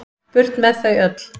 Burt með þau öll.